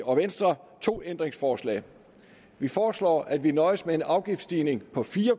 og venstre to ændringsforslag vi foreslår at vi nøjes med en afgiftsstigning på fire